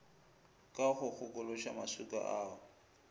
ka go kgokološa maswika ao